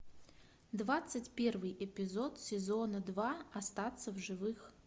двадцать первый эпизод сезона два остаться в живых